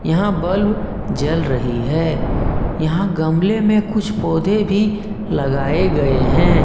यहां बल्ब जल रही है यहां गमले में कुछ पौधे भी लगाए गए हैं।